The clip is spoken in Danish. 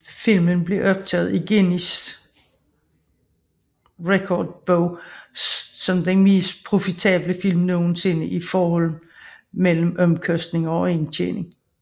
Filmen blev optaget i Guinness Rekordbog som den mest profitable film nogensinde i forhold mellem omkostninger og indtjening